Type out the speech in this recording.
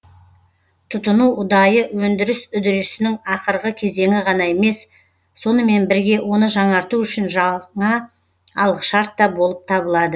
тұтыну ұдайы өндіріс үдерісінің ақырғы кезеңі ғана емес сонымен бірге оны жаңарту үшін жаңа алғышарт та болып табылады